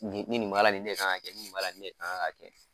nin nin b'a la nin kan ka kɛ nin nin b'a la nin kan ka kɛ.